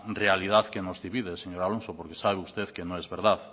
realidad que nos divide señor alonso porque sabe usted que no es verdad